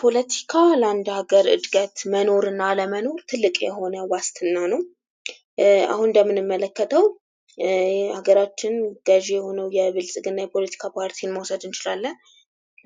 ፖለቲካ ለአንድ ሀገር እድገት መኖርና አለመኖር ትልቅ የሆነ ዋስትና ነው አሁን እንደምንመለከተው የሀገራችን ገዥ የሆነው የብልጽግና የፖለቲካ ፓርቲን መውሰድ እንችላለን።